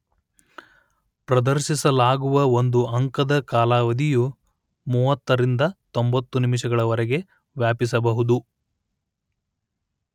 ಪ್ರದರ್ಶಿಸಲಾಗುವ ಒಂದು ಅಂಕದ ಕಾಲಾವಧಿಯು ಮೂವತ್ತರಿಂದ ತೊಂಬತ್ತು ನಿಮಿಷಗಳವರೆಗೆ ವ್ಯಾಪಿಸಬಹುದು